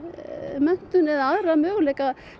menntun eða aðra möguleika